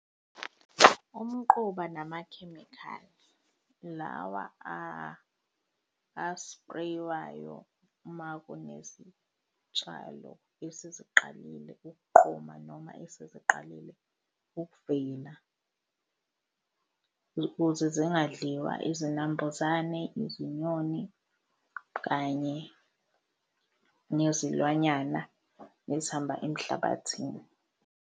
Umquba namakhemikhali lawa a-spray-wayo uma kunezitshalo eseziqalile ukuqoma noma esesiqalile ukuvela, ukuze zingadliwa izinambuzane, izinyoni kanye nezilwanyana ezihamba emhlabathini.